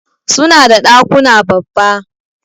Suna da dakuna babba.